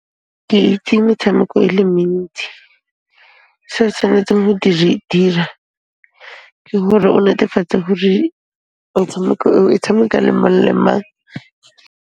Ke itse metshameko e le mentsi. Se o tshwanetseng go di dira, ke hore o netefatse hore motshameko oo, o tshameka le mang le mang.